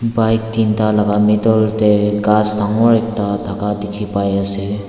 bike tinta laga middle te ghas dangor ekta thaka dikhi pai ase.